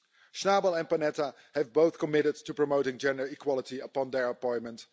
Schnabel and Panetta have both committed to promoting gender equality upon their appointment.